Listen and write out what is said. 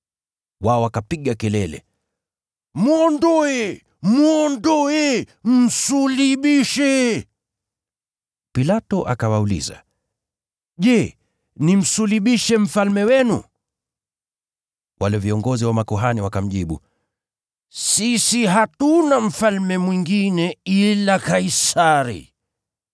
Wao wakapiga kelele, “Mwondoe! Mwondoe! Msulubishe!” Pilato akawauliza, “Je, nimsulubishe mfalme wenu?” Wale viongozi wa makuhani wakamjibu, “Sisi hatuna mfalme mwingine ila Kaisari.”